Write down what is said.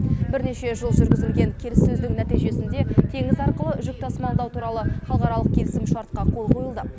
бірнеше жыл жүргізілген келіссөздің нәтижесінде теңіз арқылы жүк тасымалдау туралы халықаралық келісімшартқа қол қойылды